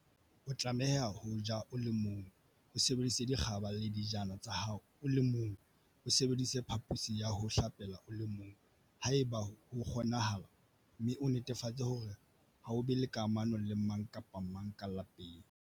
O tlameha ho ja o le mong, o sebedise dikgaba le dijana tsa hao o le mong, o sebedise phaphosi ya ho hlapela o le mong, haeba ho kgonahala, mme o netefatse hore ha o be le kamano le mang kapa mang ka lapeng.